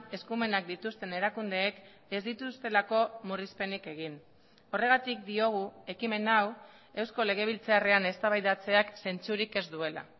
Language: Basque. eskumenak dituzten erakundeek ez dituztelako murrizpenik egin horregatik diogu ekimen hau eusko legebiltzarrean eztabaidatzeak zentzurik ez duela